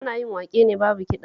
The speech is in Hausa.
Ana yin waƙe ne babu kiɗa